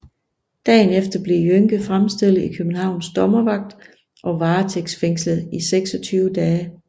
Dagen efter blev Jønke fremstillet i Københavns Dommervagt og varetægtsfængslet i 26 dage